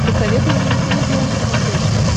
посоветуй мне никелодеон на смотрешке